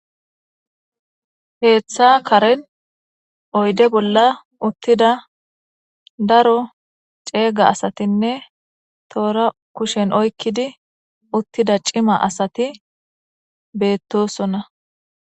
Ketha karen oyide bolla utida daro cega asatinee tora kushen oyikidi utida cima asati betosona